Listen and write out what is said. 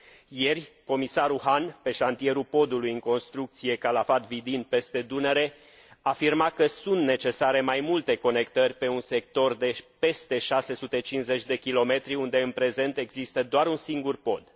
Ieri, comisarul Hahn, pe șantierul podului în construcție Calafat Vidin peste Dunăre, afirma că sunt necesare mai multe conectări pe un sector de peste 650 de kilometri, unde în prezent există doar un singur pod.